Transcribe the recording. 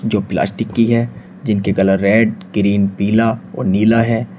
जो प्लास्टिक की है जिनके कलर रेड ग्रीन पीला और नीला है।